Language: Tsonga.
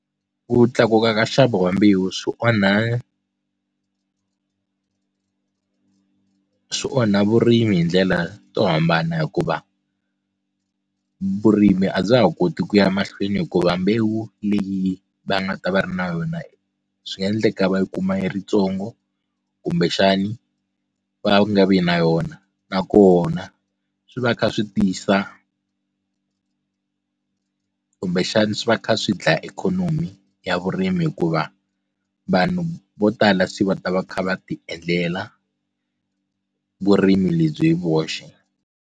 Ku tlakuka ka nxavo wa mbewu swi onha swi onha vurimi hi ndlela to hambana hikuva vurimi a bya ha koti ku ya mahlweni hikuva mbewu leyi va nga ta va ri na yona swi nga endleka va yi kuma yi ri ntsongo kumbexani va nga vi na yona nakona swi va kha swi tisa kumbexana swi va kha swi dlaya ikhonomi ya vurimi hikuva vanhu vo tala se va ta va kha va ti endlela vurimi lebyi hi voxe.